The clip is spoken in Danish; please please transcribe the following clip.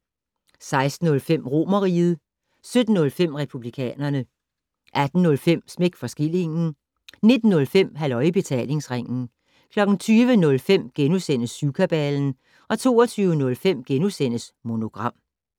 16:05: Romerriget 17:05: Republikanerne 18:05: Smæk for skillingen 19:05: Halløj i Betalingsringen 20:05: Syvkabalen * 22:05: Monogram *